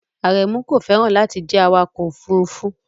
Aremu kò fẹ́ràn láti jẹ́ awakọ̀ òfurufú